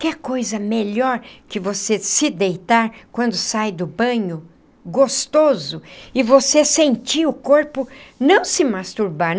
Quer coisa melhor que você se deitar quando sai do banho, gostoso, e você sentir o corpo, não se masturbar.